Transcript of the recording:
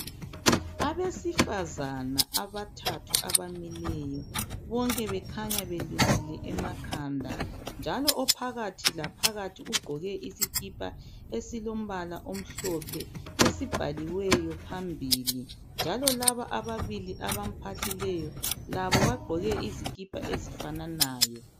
Abesifazana abathathu abamileyo bonke bekhanya belukile emakhanda .Njalo ophakathi laphakakathi ugqoke isikipha esilombala omhlophe esibhaliweyo phambili. Njalo laba abalili abamphahlileyo labo bagqoke izikipa ezifananayo.